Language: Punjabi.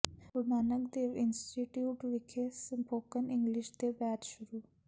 ਗੁਰੂ ਨਾਨਕ ਦੇਵ ਇੰਸਟੀਚਿਊਟ ਵਿਖੇ ਸਪੋਕਨ ਇੰਗਲਿਸ਼ ਦੇ ਬੈਚ ਸ਼ੁਰੂ